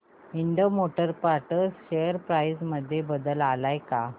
Ind motor parts share price मध्ये बदल आलाय का